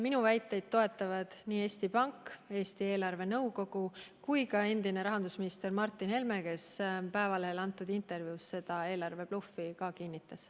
Minu väiteid toetavad nii Eesti Pank, Eesti eelarvenõukogu kui ka endine rahandusminister Martin Helme, kes Eesti Päevalehele antud intervjuus seda eelarvebluffi kinnitas.